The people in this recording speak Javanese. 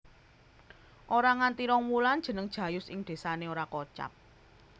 Ora nganti rong wulan jeneng Jayus ing désane ora kocap